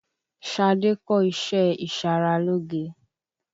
Ṣadé kọ́ iṣé ìṣaralóge.